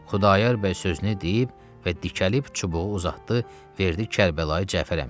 Xudayar bəy sözünü deyib və dikəlib çubuğu uzatdı, verdi Kərbəlayı Cəfər əmiyə.